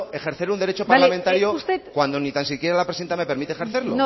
ejercer un derecho parlamentario cuando ni tan siquiera la presidenta me permite ejercerlo